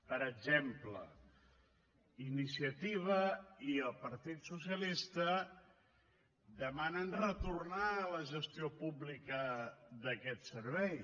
per exemple iniciativa i el partit socialista demanen retornar a la gestió pública d’aquest servei